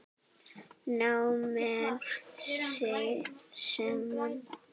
Ná menn saman?